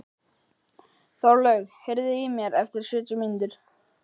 Þorlaug, heyrðu í mér eftir sjötíu mínútur.